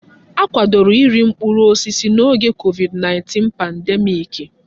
Akwadoro iri mkpụrụ osisi n'oge COVID-19 pandemiiki.